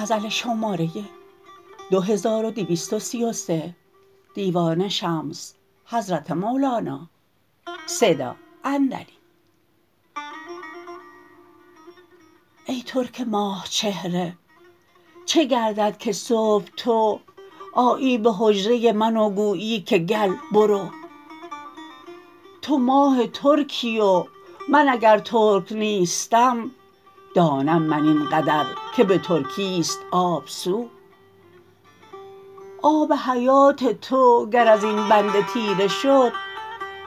ای ترک ماه چهره چه گردد که صبح تو آیی به حجره من و گویی که گل برو تو ماه ترکی و من اگر ترک نیستم دانم من این قدر که به ترکی است آب سو آب حیات تو گر ازین بنده تیره شد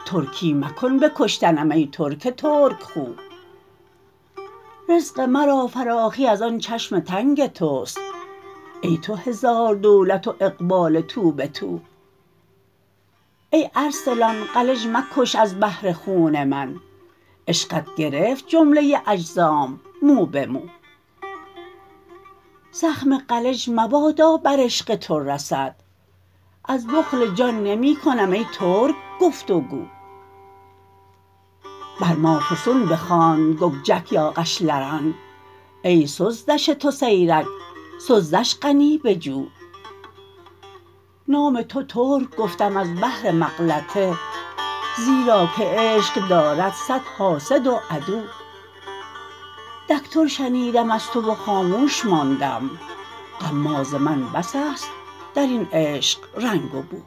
ترکی مکن به کشتنم ای ترک ترک خو رزق مرا فراخی از آن چشم تنگ توست ای تو هزار دولت و اقبال توبه تو ای ارسلان قلج مکش از بهر خون من عشقت گرفت جمله اجزام موبه مو زخم قلج مبادا بر عشق تو رسد از بخل جان نمی کنم ای ترک گفت و گو بر ما فسون بخواند ککجک ای قشلرن ای سزدش تو سیرک سزدش قنی بجو نام تو ترک گفتم از بهر مغلطه زیرا که عشق دارد صد حاسد و عدو دک تور شنیدم از تو و خاموش ماندام غماز من بس است در این عشق رنگ و بو